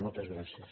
moltes gràcies